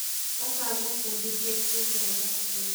ũka ngũbundithie kĩndũ ũmũthĩ.